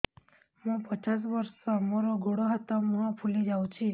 ମୁ ପଚାଶ ବର୍ଷ ମୋର ଗୋଡ ହାତ ମୁହଁ ଫୁଲି ଯାଉଛି